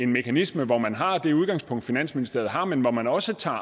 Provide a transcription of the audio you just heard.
mekanisme hvor man har det udgangspunkt finansministeriet har men hvor man også tager